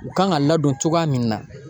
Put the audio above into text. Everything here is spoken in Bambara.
U kan ŋa ladon cogoya min na